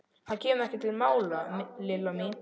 Það kemur ekki til mála, Lilla mín.